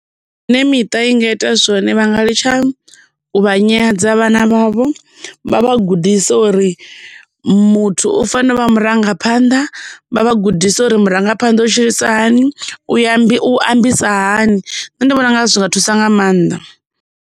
Zwine miṱa i nga ita zwone vhanga litsha u vha nyadza vhana vhavho vha vha gudise uri muthu u fanela u vha murangaphanḓa vha vha gudise uri murangaphanḓa u tshilisa hani u ya u ambisa hani nṋe ndi vhona unga zwi nga thusa nga maanḓa.